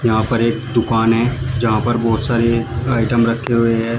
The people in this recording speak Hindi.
यहां पर एक दुकान है जहां पर बहोत सारे आइटम रखें हुए हैं।